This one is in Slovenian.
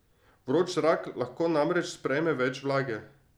Vroč zrak lahko namreč sprejme več vlage.